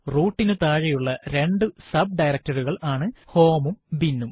root നു താഴെയുള്ള രണ്ടു sub directory കൾ ആണ് home ഉം bin ഉം